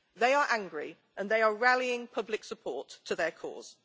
They are angry and they are rallying public support to their cause.